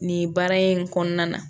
Nin baara in kɔnɔna na